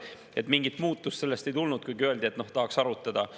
Nii et mingit muutust sellest ei tulnud, kuigi öeldi, et tahaks arutada.